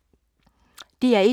DR1